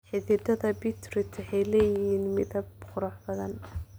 Xididdada Beetroot waxay leeyihiin midab qurux badan.